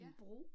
Ja